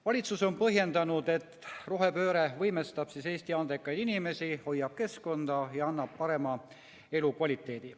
Valitsus on põhjendanud, et rohepööre võimestab Eesti andekaid inimesi, hoiab keskkonda ja annab parema elukvaliteedi.